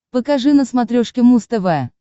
покажи на смотрешке муз тв